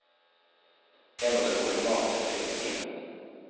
Jeg måtte koke mat til filmteamet.